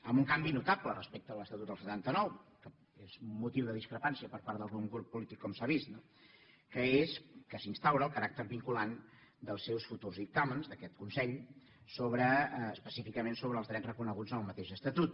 amb un canvi notable respecte a l’estatut del setanta nou que és motiu de discrepància per part d’algun grup polític com s’ha vist no que és que s’instaura el caràcter vinculant dels seus futurs dictàmens d’aquest consell específicament sobre els drets reconeguts en el mateix estatut